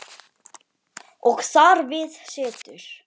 Og þar við situr.